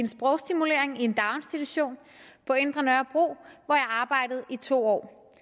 sprogstimulering i en daginstitution på indre nørrebro hvor jeg arbejdede i to år